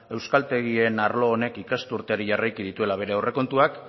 euskaltegien arlo honek ikasturteari jarraiki dituela bere aurrekontuak